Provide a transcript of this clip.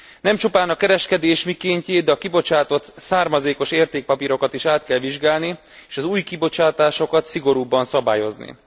Nem csupán a kereskedés mikéntjét, a kibocsátott származékos értékpapírokat is át kell vizsgálni, és az új kibocsátásokat szigorúbban szabályozni.